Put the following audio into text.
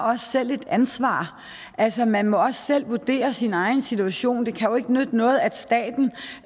også selv har et ansvar altså man må også selv vurdere sin egen situation det kan jo ikke nytte noget at staten